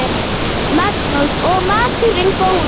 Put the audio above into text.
Magnús: Og maturinn góður?